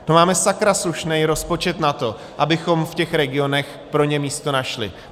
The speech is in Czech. To máme sakra slušný rozpočet na to, abychom v těch regionech pro ně místo našli.